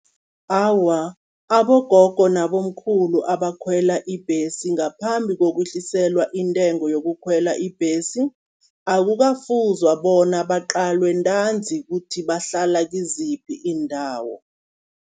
Awa, abogogo nabomkhulu abakhwela ibhesi ngaphambi kokuhliselwa intengo yokukhwela ibhesi, akukafuzwa bona baqalwe ntanzi kuthi bahlala kiziphi iindawo.